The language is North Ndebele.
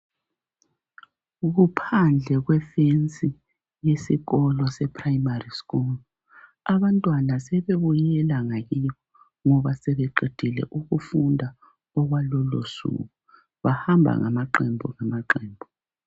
Kuphandle kwefensi yesikolo seprimary school .Abantwana sebebuyela ngakibo ngoba sebeqedile ukufunda okwalolo suku bahamba ngamaqembu ngamaqembu .